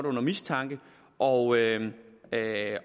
under mistanke og